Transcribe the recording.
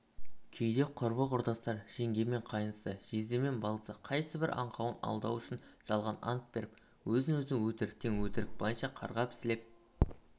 кейде құрбы-құрдастар жеңге мен қайнысы жезде мен балдызы қайсыбір аңқауын алдау үшін жалған ант беріп өзін өзі өтіріктен өтірік былайша қарғап-сілеп